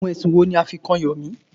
Àwọn ẹ̀sùn wo ní a fí kàn Yomi?